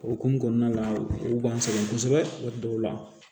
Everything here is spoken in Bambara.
O hokumu kɔnɔna la u b'an sɛgɛn kosɛbɛ dɔw la